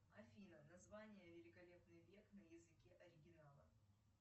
афина название великолепный век на языке оригинала